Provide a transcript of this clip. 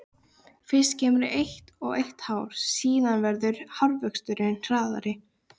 Fyrst kemur eitt og eitt hár, síðan verður hárvöxturinn hraðari.